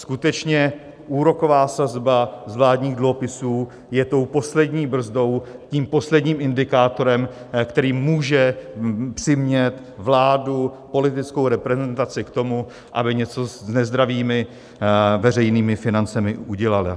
Skutečně, úroková sazba z vládních dluhopisů je tou poslední brzdou, tím posledním indikátorem, který může přimět vládu, politickou reprezentaci k tomu, aby něco s nezdravými veřejnými financemi udělala.